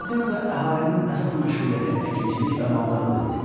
Atropatenada əhalinin əsas məşğuliyyəti əkinçilik və maldarlıq idi.